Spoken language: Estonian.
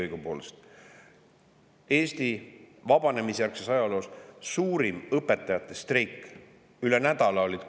Eesti vabanemisjärgse ajaloo suurim õpetajate streik: koolid olid üle nädala kinni.